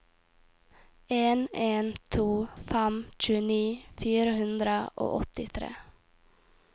en en to fem tjueni fire hundre og åttitre